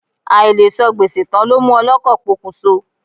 Àìlesan gbèsè tán ló mú ọlọ́kọ̀ pokùnso.